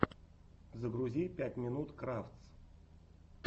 загрузи пять минут крафтс